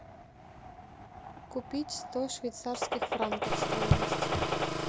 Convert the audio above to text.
купить сто швейцарских франков стоимость